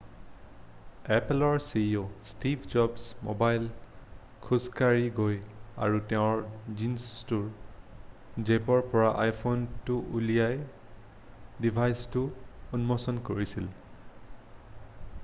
এপ'লৰ ceo Steve জবছে মঞ্চলৈ খোজকাঢ়ি গৈ আৰু তেওঁৰ জীনছটোৰ জেপৰ পৰা iphoneটো উলিয়াই ডিভাইচটো উন্মোচন কৰিছিল।